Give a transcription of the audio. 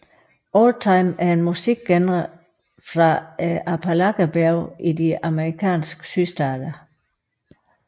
Oldtime er en musikgenre fra Appalacherbjergene i de amerikanske sydstater